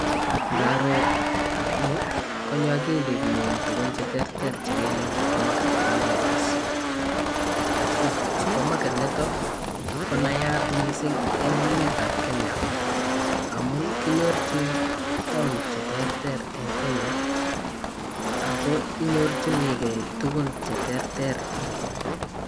Igaroo nii konyoo okilinyun tukun cheterter chekele suppermarket nebo naivas supeermarket niton ko nayat missing en emet ab kenya amun kinyorchin town cheterter en kenya ako inyorchinii gee tukuk cheterter.